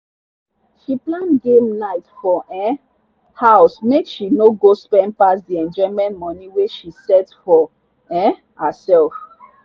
she plan game night for um house make she no go spend pass the enjoyment money wey she set for um herself.